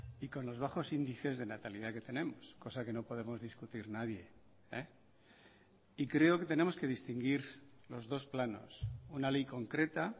y con los bajos índices de natalidad que tenemos cosa que no podemos discutir nadie y creo que tenemos que distinguir los dos planos una ley concreta